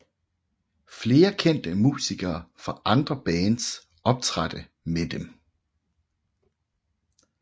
Flere kendte musikere fra andre bands optrådte med dem